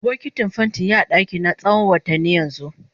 Bokitin fenti ya a dakina tsawon watanni yanzu.